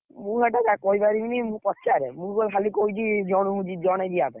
ମୁଁ କହିପାରିବିନି ମୁଁ ପଚାରେ ମୁଁ ଖାଲି କହିଛି ଜଣକୁ ଜଣେ ଯିବା ପାଇଁ,